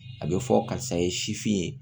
A bɛ fɔ karisa ye sifin ye